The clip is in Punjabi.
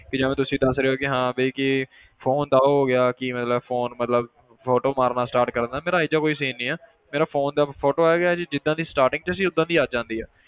ਕਿ ਜਿਵੇਂ ਤੁਸੀਂ ਦੱਸ ਰਹੇ ਹੋ ਕਿ ਹਾਂ ਵੀ ਕਿ phone ਦਾ ਉਹ ਹੋ ਗਿਆ ਕਿ ਮਤਲਬ phone ਮਤਲਬ photo ਮਾਰਨਾ start ਕਰ ਦਿੰਦਾ ਮੇਰਾ ਇਹ ਜਿਹਾ ਕੋਈ scene ਨਹੀਂ ਆ ਮੇਰੇ phone ਦਾ photo ਜਿੱਦਾਂ ਦੀ starting 'ਚ ਸੀ ਓਦਾਂ ਦੀ ਅੱਜ ਆਉਂਦੀ ਆ,